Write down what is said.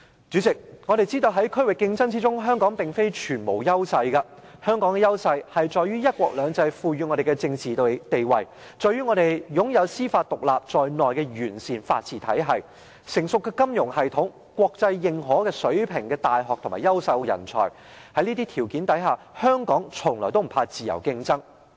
主席，我們知道在區域競爭中，香港並非全無優勢，香港的優勢在於"一國兩制"賦予我們的政治地位，在於我們擁有司法獨立在內的完善法治體系、成熟的金融系統、國際認可水平的大學和優秀的人才，在這些條件下，香港從來不怕自由競爭。